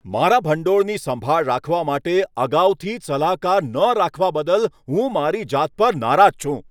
મારા ભંડોળની સંભાળ રાખવા માટે અગાઉથી જ સલાહકાર ન રાખવા બદલ હું મારી જાત પર નારાજ છું.